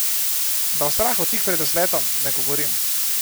Da o strahu tik pred vzletom ne govorim.